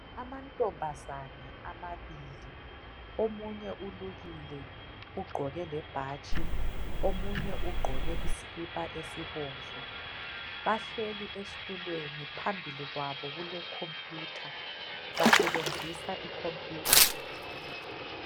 Amantombazane amabili ,omunye ulukile ugqoke lebhatshi .Omunye ugqoke isikhipha esibomvu ,bahleli esithulweni. Phambili kwabo kule khompuyutha, basebenzisa ikhompuyutha.